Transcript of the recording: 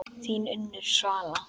Þín Unnur Svala.